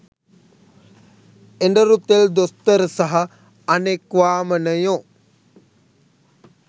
එඬරු තෙල් දොස්තර සහ අනෙක් වාමනයෝ